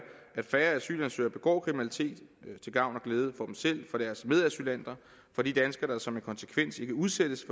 at færre asylansøgere begår kriminalitet til gavn og glæde for selv for deres medasylanter for de danskere der som en konsekvens ikke udsættes